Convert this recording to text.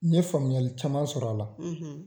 N ye faamuyali caman sɔrɔ a la.